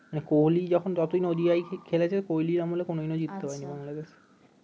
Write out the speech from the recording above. কোহেলি যখন যতদিন O D I খেলেছে কোহেলির আমলে কোন দিনও জিততে পারে নি বাংলাদেশ